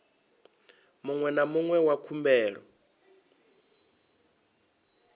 muṅwe na muṅwe wa khumbelo